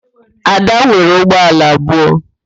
Ada nwere ụgbọala abụọ